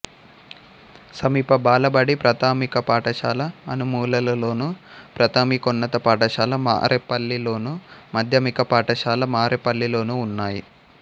సమీప బాలబడి ప్రాథమిక పాఠశాల అనుములలోను ప్రాథమికోన్నత పాఠశాల మారేపల్లిలోను మాధ్యమిక పాఠశాల మారేపల్లిలోనూ ఉన్నాయి